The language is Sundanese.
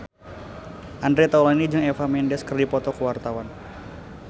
Andre Taulany jeung Eva Mendes keur dipoto ku wartawan